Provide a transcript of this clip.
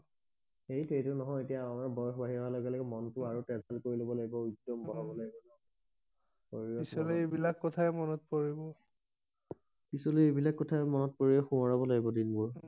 সেইটো এইটো নহয় এতিয়া আমাৰ বয়স বাহি অহা লগে লগে মনটো আৰু কৰি লব লাগিব বঢাব লাগিব পিছলৈ এই বিলাক কথাই মন পৰিব পিছলৈ এই বিলাক কথাই মন পৰি শোৱৰাব লাগিব দিন বোৰ